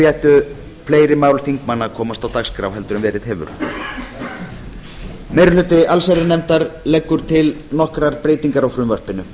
ættu fleiri mál þingmanna að komast á dagskrá meiri hluti allsherjarnefndar leggur til nokkrar breytingar á frumvarpinu